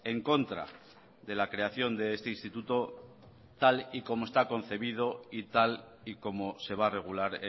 en contra de la creación de este instituto tal y como está concebido y tal y como se va a regular